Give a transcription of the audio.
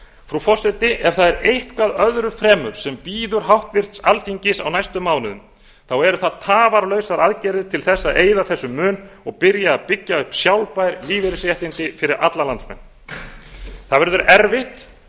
frú forseti ef það er eitthvað öðru fremur sem býður háttvirtur alþingis á næstu mánuðum þá eru það tafarlausar aðgerðir til að eyða þessum mun og byrja að byggja upp sjálfbær lífeyrisréttindi fyrir alla landsmenn það verður erfitt